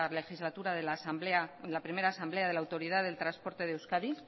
legislatura la primera asamblea de la autoridad del transporte de euskadi